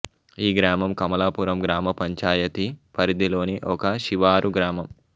ఈ గ్రామం కమలాపురం గ్రామ పంచాయతీ పరిధిలోని ఒక శివారు గ్రామం